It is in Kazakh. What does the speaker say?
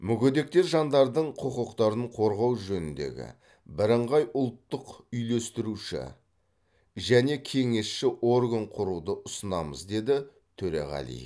мүгедек жандардың құқықтарын қорғау жөніндегі бірыңғай ұлттық үйлестіруші және кеңесші орган құруды ұсынамыз деді төреғалиев